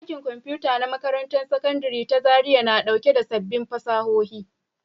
Ɗakin Kwamfuta na Makarantar Sakandare ta Zariya na ɗauke da sabbin fasahohi